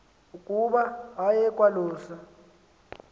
ukuba aye kwalusa